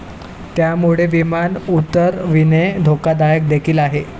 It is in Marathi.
त्यामुळे विमान उतरविणे धोकादायक देखील आहे.